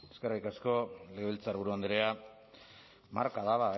eskerrik asko legebiltzarburu andrea marka da